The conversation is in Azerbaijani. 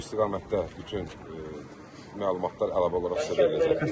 Bu istiqamətdə bütün məlumatlar əlavə olaraq sizə veriləcəkdir.